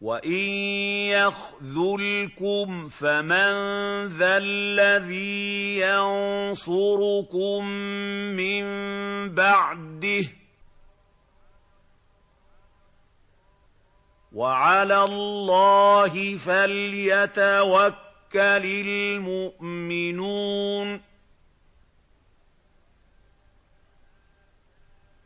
وَإِن يَخْذُلْكُمْ فَمَن ذَا الَّذِي يَنصُرُكُم مِّن بَعْدِهِ ۗ وَعَلَى اللَّهِ فَلْيَتَوَكَّلِ الْمُؤْمِنُونَ